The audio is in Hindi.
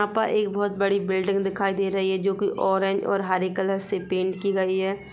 यहाँ पर एक बहुत बड़ी बिल्डिंग दिखाई दे रही है जो कि ऑरेंज और हरे कलर से पेंट की गई हैं।